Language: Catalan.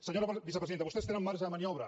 senyora vicepresidenta vostès tenen marge de mani·obra